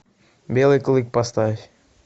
белый клык поставь